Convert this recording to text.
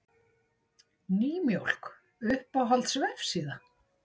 Nýmjólk Uppáhalds vefsíða?